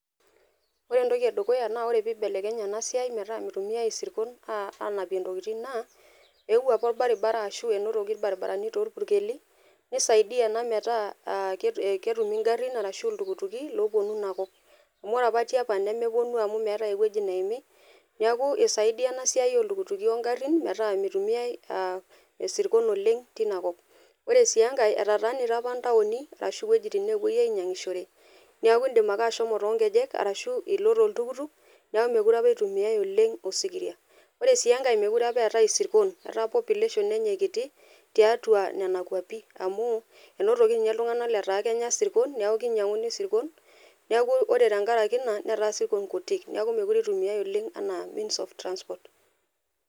Ore entoki edukuya naa ore peibelekenye enasiai metaa mitumiai isirkon anapie ntokitin naa eewuo apa orbaribara einotoko irbaribarani torpuni neisaidia ena metaa ketumi ng'arin ashu iltukutuki oponu ina kop ,amu ore apa tiapa nemeponu amu meeta ewoi naimi, neaku isaidia ena amu esiai iltukutuki oo ng'arin amu mitumiai isirkon oreng' tinakop, ore si enkae etataanita ama ntauni ashu wuejitin napuoi ainyang'ishore neakubindim ake ashomo tonkejek ashu ilo toltukutuk neaku mekute itumiai oleng' osikiria, ore sii enkae mekute apa itumiaki isirkon amu ilepa population tiatua nona kwapi amu inotoki nye ltung'anak lataa kenya sirkon neaku ore tenkaraki ina neta sirkon kutik neaku mitumiai oleng anaa means of transport.